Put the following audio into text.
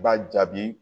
I b'a jaabi